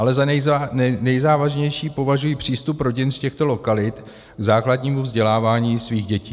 Ale za nejzávažnější považuji přístup rodin z těchto lokalit k základnímu vzdělávání svých dětí.